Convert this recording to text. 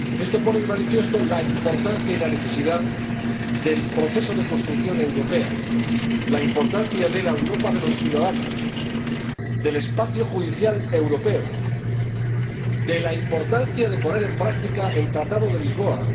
Esto pone de manifiesto la importancia y la necesidad del proceso de construcción europea, la importancia de la Europa de los ciudadanos, del espacio judicial europeo, de poner en práctica el Tratado de Lisboa